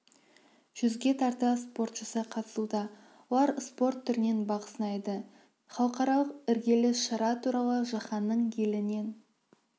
жүзге тарта спортшысы қатысуда олар спорт түрінен бақ сынайды халықаралық іргелі шара туралы жаһанның елінен